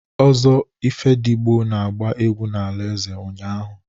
Ozo Ifedigo na-agba egwu n'ala eze ụnyahụ.